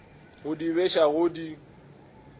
go di beša go di